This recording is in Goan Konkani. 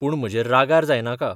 पूण म्हजेर रागार जायनाका.